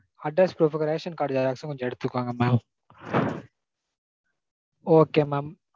address proof க்கு ration card xerox ம் கொஞ்சம் எடுத்துக்கோங்க mam okay mam